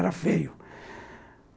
Era feio.